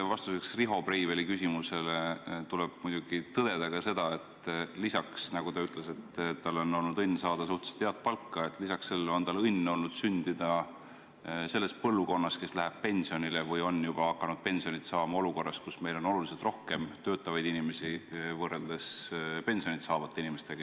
Vastuseks Riho Breiveli küsimusele tuleb muidugi tõdeda ka seda, et lisaks sellele – nagu ta ütles –, et tal on olnud õnn saada suhteliselt head palka, on tal olnud õnn sündida selles põlvkonnas, kes läheb pensionile või on juba hakanud pensioni saama olukorras, kus meil on oluliselt rohkem töötavaid inimesi kui pensioni saavaid inimesi.